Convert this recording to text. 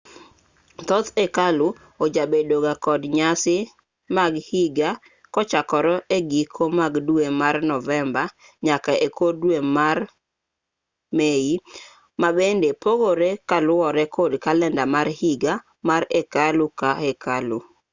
thoth hekalu ojabedo ga kod nyasi mag higa kochakore e giko mag dwe mar novemba nyaka e kor dwe mar mei ma bende pogore kaluwore kod kalenda mar higa mar hekalu ka hekalu